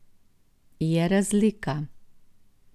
Je razlika.